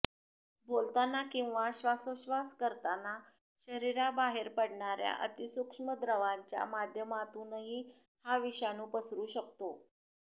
बोलताना किंवा श्वासोच्छश्वास करताना शरीराबाहेर पडणाऱ्या अतिसूक्ष्म द्रवाच्या माध्यमातूनही हा विषाणू पसरू शकतो